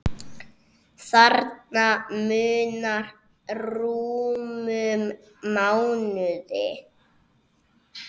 Þarna munar rúmum mánuði.